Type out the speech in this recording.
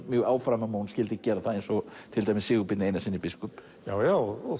mjög áfram að hún skyldi gera það eins og Sigurbirni Einarssyni biskup já já og